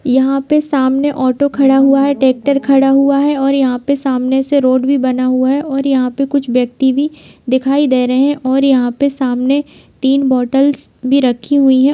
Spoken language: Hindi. यहाँ पे सामन ऑटो खड़ा हुआ है ट्रेक्टर खड़ा हुआ है और यहाँ पे सामने से रोड भी बना बना हुआ है और यहाँ पे कुछ व्यक्ति भी दिखाई दे रहे हैं और यहाँ पे सामने तीन बॉटल्स भी रखी हुई हैं।